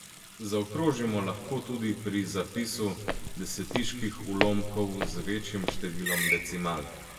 Zaokrožimo lahko tudi pri zapisu desetiških ulomkov z večjim številom decimalk.